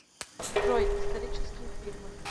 джой исторические фильмы